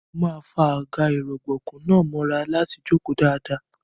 Mo máa fa àga-ìrọ̀gbọ̀kú náà mọ́ra láti jókòó dáadáa.